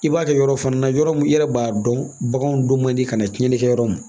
I b'a kɛ yɔrɔ fana na yɔrɔ min i yɛrɛ b'a dɔn baganw don man di ka na tiɲɛni kɛ yɔrɔ min